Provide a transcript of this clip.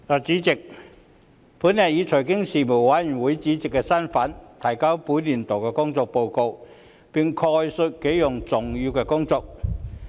主席，本人以財經事務委員會主席身份，提交本年度的工作報告，並概述幾項重點工作。